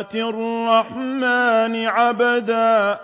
آتِي الرَّحْمَٰنِ عَبْدًا